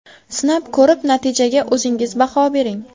Sinab ko‘rib, natijaga o‘zingiz baho bering.